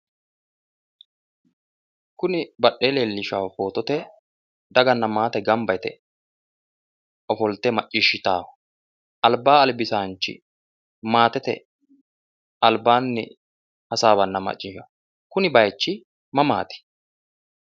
Kuni badhee leellishaahu footote daganna maate gamba yite ofolte macciishshitaahu albaa albisaanchi maatete albaanni hasaawanna maccishanno kuni bayiichi mamaati?